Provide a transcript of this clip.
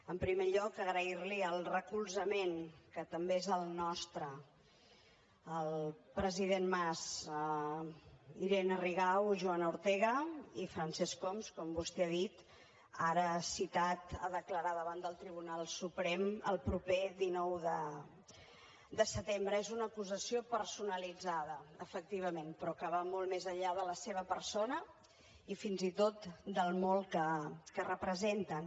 en primer lloc agrairli el recolzament que també és el nostre al president mas irene rigau joana ortega i francesc homs com vostè ha dit ara citat a declarar davant del tribunal suprem el proper dinou de setembre és una acusació personalitzada efectivament però que va molt més enllà de la seva persona i fins i tot del molt que representen